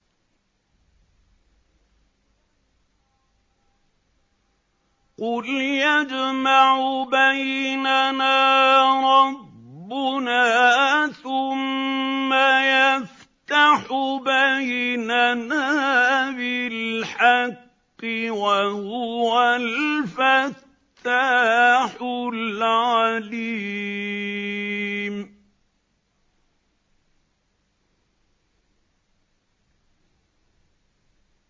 قُلْ يَجْمَعُ بَيْنَنَا رَبُّنَا ثُمَّ يَفْتَحُ بَيْنَنَا بِالْحَقِّ وَهُوَ الْفَتَّاحُ الْعَلِيمُ